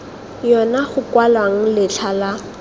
yona go kwalwang letlha la